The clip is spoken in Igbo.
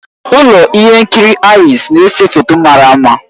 Ụlọ ihe nkiri Aries na-ese foto mara mma